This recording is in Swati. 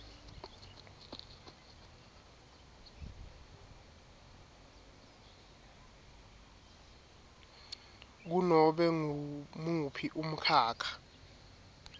kunobe ngumuphi umkhakha